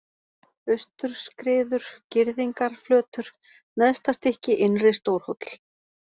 Austurskriður, Girðingarflötur, Neðstastykki, Innri-Stórhóll